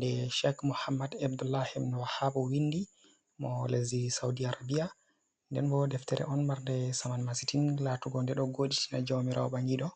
Ɗe shek Muhammad Abdull wahabu mo winɗi. Mo lesɗi Sauɗi Arabia. nɗen bo deftere on marnɗe saman masitin, latugo nɗe ɗo goɗitina jawmirawo bangiɗo.